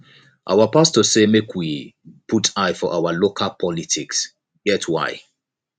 our pastor say make we dey put eye for our local politics e get why